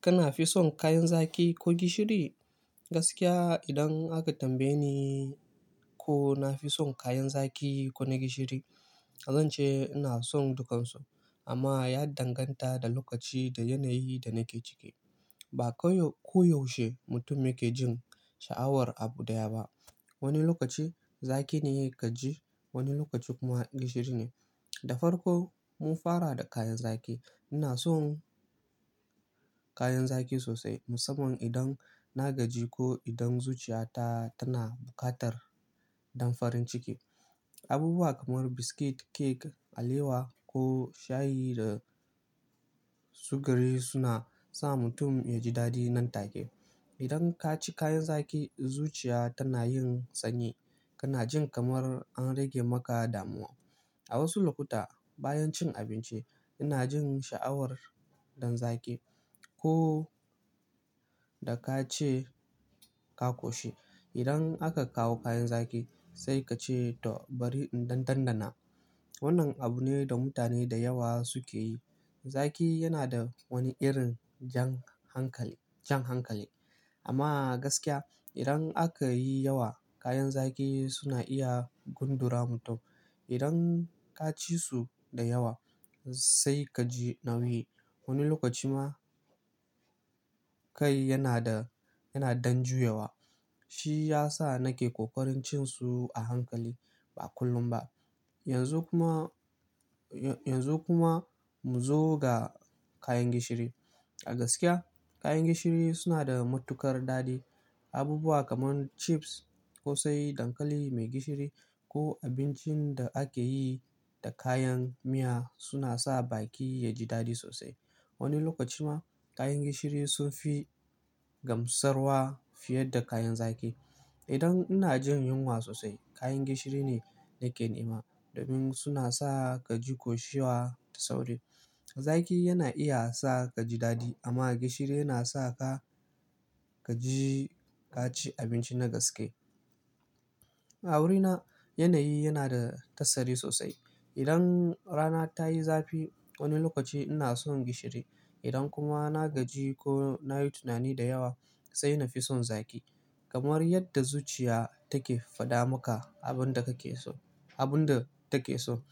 Kana fi son kayan zaki ko gishiri? Gaskiya idan aka tambaye ni ko na fi son kayan zaƙi ko na gishiri, zan ce ina son dukansu. Amma ya danganta da lokaci da yanayi da nake ciki. Ba koyaushe mutum yake jin sha'awar abu ɗaya ba. Wani lokaci zaki ne yake ji, wani lokaci kuma gishiri ne. Da farko mun fara da kayan zaƙi. Ina son kayan zaƙi sosai musamman idan na gaji ko idan zuciyata tana buƙatar damfarin ciki. Abubuwa kamar biskit, kek, alewa ko shayi da sugari suna sa mutum yaji daɗi nan take. Idan ka ci kayan zaƙi, zuciya tana yin sanyi. Kana jin kamar an rage maka damuwa. A wasu lokuta bayan cin abinci, ina jin sha'awar dan zaki ko da ka ce ka koshi. Idan aka kawo kayan zaki sai ka ce to bari in ɗan ɗan-ɗana. Wannan abu ne da mutane da yawa suke yi. Zaƙi yana da wani irin jan hankali, jan hankali. Amma gaskiya idan aka yi yawa kayan zaƙi suna iya gundura mutum. Idan ka ci su da yawa sai ka ji nauyi. Wani lokaci ma kai yana da, yana dan juyawa. Shi ya sa nake ƙoƙarin cin su a hankali ba kullum ba. Yanzu kuma, yanzu kuma mu zo ga kayan gishiri. A gaskiya kayan gishiri suna da matuƙar daɗi. Abubuwa kamar chips ƙo sai dankali mai gishiri ko abincin da ake yi da kayan miya suna sa baki yaji daɗi sosai. Wani lokaci ma kayan gishiri sun fi gamsarwa fiye da kayan zaki. Idan ina jin yunwa sosai kayan gishiri ne nake nema domin suna sa ka ji koshiwa da sauri. Zaki yana iya sa ka ji daɗi amma gishiri yana sa ka, ka ji ka ci abinci na gaske. A wurina yanayi yana da tasiri sosai. Idan rana ta yi zafi wani lokaci ina son gishiri. Idan kuma na gaji ko na yi tunani da yawa sai na fi son zaki. Kamar yadda zuciya take faɗa maka abin da kake so, abin da take so.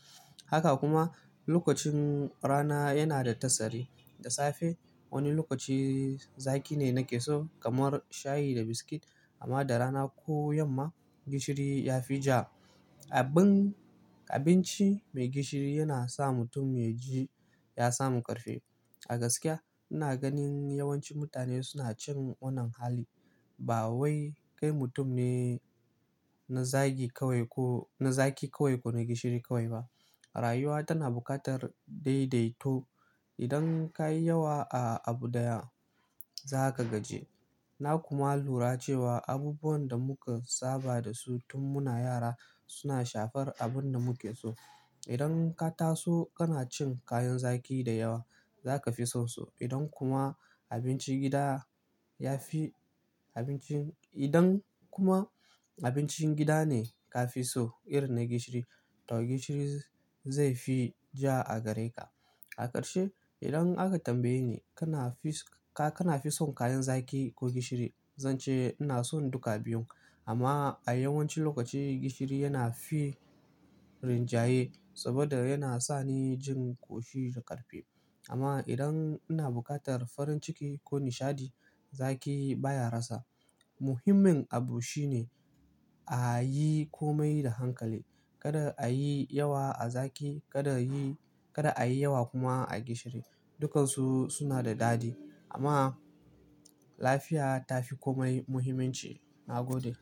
Haka kuma lokacin rana yana da tasiri. Da safe wani lokaci zaki ne nake so kamar shayi da biskit amma da rana ko yamma gishiri ya fi ja. Abin, abinci mai gishiri yana sa mutum ya ji ya samu ƙarfi. A gaskiya ina ganin yawanci mutane suna cin wannan hali. Ba wai kai mutum ne na zagi kawai ko, na zaki kawai ko na gishiri kawai ba. Rayuwa tana buƙatar daidaito. Idan ka yi yawa a abu daya za ka gaji. Na kuma lura cewa abubuwan da muka saba da su tun muna yara suna shafar abin da muke so. Idan ka taso kana cin kayan zaƙi da yawa za ka fi son su. Idan kuma abincin gida ya fi abincin-- idan kuma abincin gida ne ka fi so irin na gishiri to gishiri zai fi ja a gare ka. A ƙarshe idan aka tambaye ni kana fi, ka kana fi son kayan zaƙi ko gishiri? Zan ce ina son duka biyun amma a yawancin lokaci gishiri yana fi rinjaye saboda yana sa ni jin ƙoshi da ƙarfi. Amma idan ina buƙatar farin ciki ko nishaɗi zaƙi baya rasa. Muhimmin abu shine a yi komai da hankali. Kada a yi yawa a zaƙi, kada yi, kada a yi yawa kuma a gishiri. Dukansu suna da dadi amma lafiya tafi kome muhimmanci. Na gode.